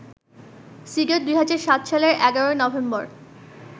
cedar ২০০৭ সালের ১১ November